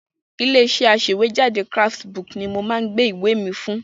Ilé-iṣẹ́ aṣèwéjádé Craftsbook ni mo máa gbé ìwé mi fún.